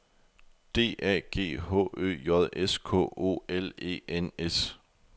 D A G H Ø J S K O L E N S